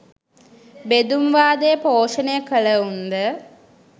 බෙදුම් වාදය පෝෂණය කලවුන්ද?